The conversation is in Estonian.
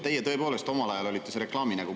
Teie tõepoolest omal ajal olite see reklaamnägu.